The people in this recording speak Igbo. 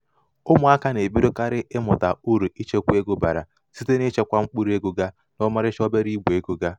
ụmụaka na-ebidokarị ịmụta um uru ichekwa ego um bara site n'ichekwa mkpụrụego ga um n'ọmarịcha obere igbe ego ga.